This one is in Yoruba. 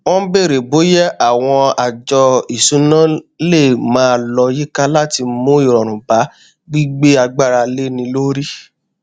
wọn bèrè bóyá àwọn àjọ ìṣúná lè máa lọ yíká láti mú ìrọrùn bá gbígbé agbára léni lórí